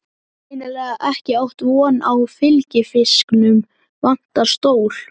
Greinilega ekki átt von á fylgifisknum, vantar stól.